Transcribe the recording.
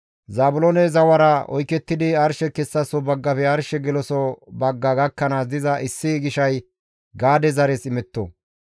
Zaabiloone zawara oykettidi arshe kessaso baggafe arshe geloso bagga gakkanaas diza issi gishay Gaade zares imetto.